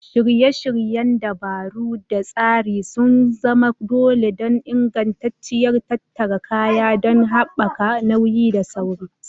Shirye-shiryen dabaru da tsari sun zama dole don ingantacciyar tattara kaya don haɓaka nauyi da sarari.